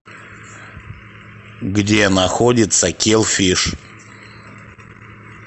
где находится килл фиш